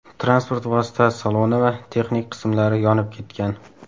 Transport vositasi saloni va texnik qismlari yonib ketgan.